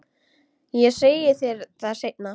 Ég segi þér það seinna.